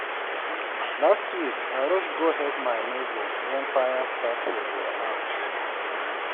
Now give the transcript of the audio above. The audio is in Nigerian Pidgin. Last week, I rush go help my neighbor when fire start for their house.